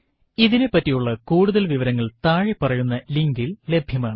ഇതിനെപ്പറ്റിയുള്ള കൂടുതൽ വിവരങ്ങൾ താഴെ പറയുന്ന ലിങ്കിൽ ലഭ്യമാണ്